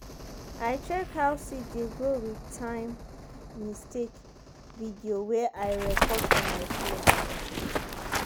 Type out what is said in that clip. i check how seed dey grow with time-mistake video wey i record for my phone.